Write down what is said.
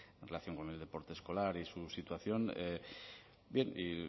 en relación con el deporte escolar y su situación bien y